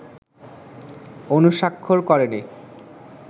অনুস্বাক্ষর করেনি